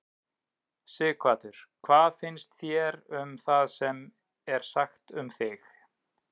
Sighvatur: Hvað fannst þér um það sem er sagt um þig?